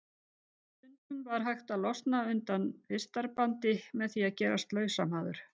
Stundum var hægt að losna undan vistarbandi með því að gerast lausamaður.